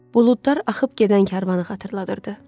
Buludlar axıb gedən karvanı xatırladırdı.